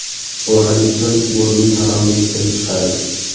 Bu hadisdan Bo‘rining haromligi kelib chiqadi.